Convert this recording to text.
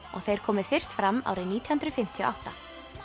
og þeir komu fyrst fram árið nítján hundruð fimmtíu og átta